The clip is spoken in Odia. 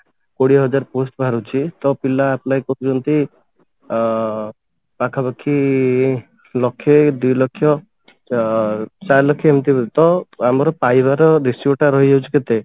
କୋଡିଏ ହଜାର post ବାହାରୁଛି ତ ପିଲା apply କରୁଛନ୍ତି ଅ ପାଖାପାଖି ଲକ୍ଷେ ଦି ଲକ୍ଷ ଚା ଚାରି ଲକ୍ଷ ଏମତି ତ ଆମର ପାଇବାର ratio ଟା ରହିଯାଉଛି କେତେ?